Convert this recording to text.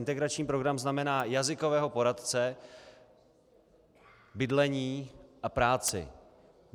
Integrační program znamená jazykového poradce, bydlení a práci.